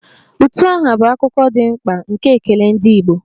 Utu aha bụ akụkụ dị mkpa nke ekele ndị Igbo